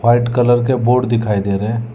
White colour के board दिखाई दे रहे हैं।